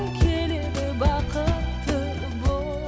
келеді бақытты